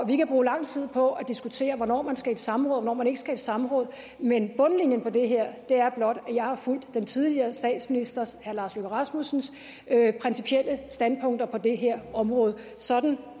kan bruge lang tid på at diskutere hvornår man skal i et samråd og hvornår man ikke skal i et samråd men bundlinjen på det her er blot at jeg har fulgt tidligere statsminister herre lars løkke rasmussens principielle standpunkter på det her område sådan